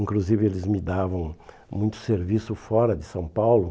Inclusive, eles me davam muito serviço fora de São Paulo.